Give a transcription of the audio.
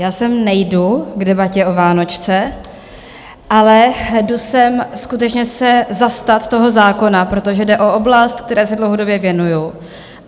Já sem nejdu k debatě o vánočce, ale jdu sem skutečně se zastat toho zákona, protože jde o oblast, které se dlouhodobě věnuju.